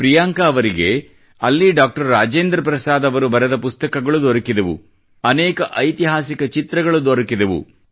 ಪ್ರಿಯಾಂಕಾ ಅವರಿಗೆ ಅಲ್ಲಿ ಡಾಕ್ಟರ್ ರಾಜೇಂದ್ರ ಪ್ರಸಾದ್ ಅವರು ಬರೆದ ಪುಸ್ತಕಗಳು ದೊರಕಿದವು ಅನೇಕ ಐತಿಹಾಸಿಕ ಚಿತ್ರಗಳು ದೊರೆತವು